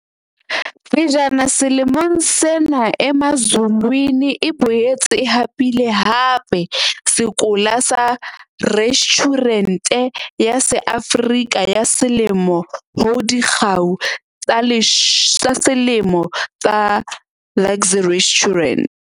Pejana selemong sena Emazulwini e boetse e hapile hape sekola sa Restjhurente ya SeAfrika ya Selemo ho Dikgau tsa Selemo tsa Luxe Restaurant.